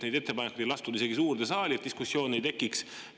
Neid ettepanekuid ei lastud isegi suurde saali, et diskussiooni ei tekiks.